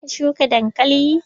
Za ka shuka dankali?